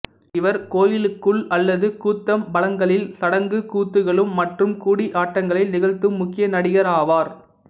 இவர் கோயிலுக்குள் அல்லது கூத்தம்பலங்களில் சடங்கு கூத்துகளும் மற்றும் கூடியாட்டங்களை நிகழ்த்தும் முக்கிய நடிகராவார்